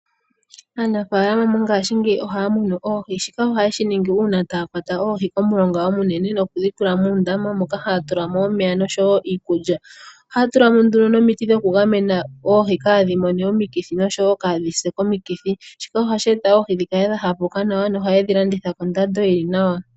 Aanafalama mongashingeyi ohaya munu oohi, shika ohaye shi ningi uuna taya kwata oohi momulonga omunene, eta yedhi tula muundama moka haya tulamo omeya osho wo iikulya, ohaya tulamo woo omiti opo dhi gamene oohi kadhi mone omikithi osho kaa dhise komikithi, shika ohashi eta oohi dhi kale dha hakuka nawa, opo ya vule oku dhi landitha koondando dhili nawa.